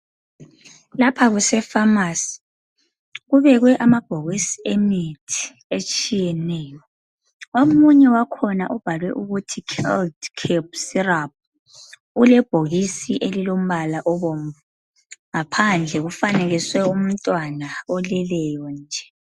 Lapha kusefamasi kubekwe amabhokisi emithi etshiyeneyo. Omunye wakhona ubhalwe ukuthi "Child Cap Syrup." Ulebhokisi elilombala obomvu. Ngaphandle ufanekiswe umntwana oleleyo nje.